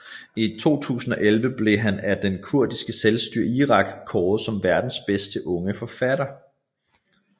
I 2011 blev han af det kurdiske selvstyre i Irak kåret som årets bedste unge forfatter